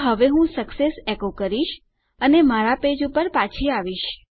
તો હવે હું સક્સેસ એકો કરીશ અને મારા પેજ પર પાછી જઈશ